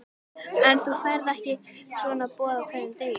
En þú færð ekki svona boð á hverjum degi.